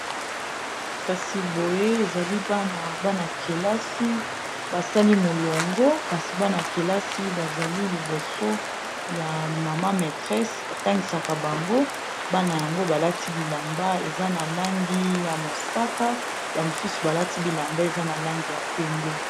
Kasi boye nazomona ezali bana, bana kelasi basali molongo, kasi bana kelasi bazali liboso ya molakisi oyo atangisaka bango, bana yango balati bilamba eza na langi ya mosaka, bamosusu balati bilamba eza na langi ya pembe.